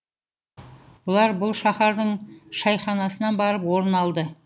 бұлар бұл шаһардың шайханасынан барып орын алды